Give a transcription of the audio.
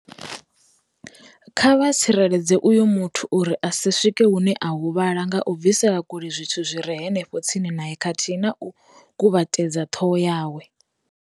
"Kha vha tsireledze uyo muthu uri a si swike hune a huvhala nga u bvisela kule zwithu zwi re henefho tsini nae khathihi na u kuvhatedza ṱhoho yawe".